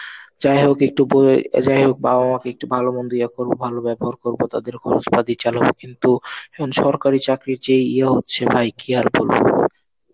যাই হোক একটু ব~ যাই হোক বাবা মাকে একটু ভালো মন্দ ইয়ে করবো, ভালো ব্যবহার করবো, তাদের খরচ পাতি চালাবো, কিন্তু এখন সরকারি চাকরির যে ইয়ে হচ্ছে ভাই কি আর বলবো?